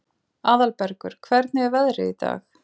Aðalbergur, hvernig er veðrið í dag?